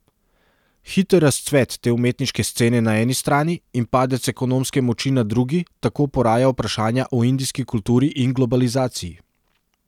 Hiter razcvet te umetniške scene na eni strani in padec ekonomske moči na drugi tako poraja vprašanja o indijski kulturi in globalizaciji.